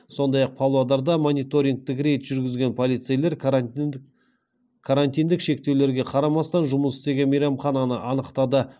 сондай ақ павлодарда мониторингтік рейд жүргізген полицейлер карантиндік шектеулерге қарамастан жұмыс істеген мейрамхананы анықтады